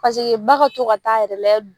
Paseke ba ka to ka taa yɛrɛ layɛ